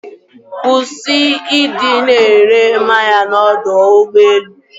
Kwụsị ịdị na-ere mmanya n'ọdọ ụgbọelu.